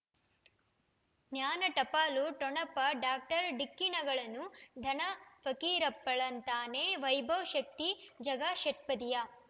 ಜ್ಞಾನ ಟಪಾಲು ಠೊಣಪ ಡಾಕ್ಟರ್ ಢಿಕ್ಕಿ ಣಗಳನು ಧನ ಫಕೀರಪ್ಪ ಳಂತಾನೆ ವೈಭವ್ ಶಕ್ತಿ ಝಗಾ ಷಟ್ಪದಿಯ